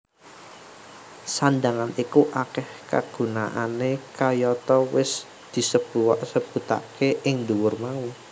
Sandhangan iku akeh kagunaané kayata wis disebautake ing dhuwur mau